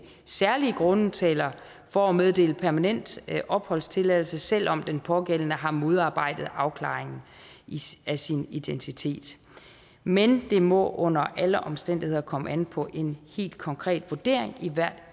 særlige grunde taler for at meddele permanent opholdstilladelse selv om den pågældende har modarbejdet afklaringen af sin identitet men det må under alle omstændigheder komme an på en helt konkret vurdering i hvert